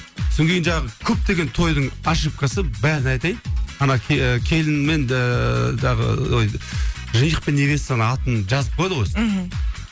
содан кейін жаңағы көптеген тойдың ошибкасы бәріне айтайын ана келін мен ыыы жаңағы ой жених пен невестаның атын жазып қояды ғой мхм